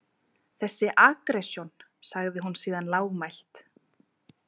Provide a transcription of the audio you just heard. Þessi aggressjón, sagði hún síðan lágmælt.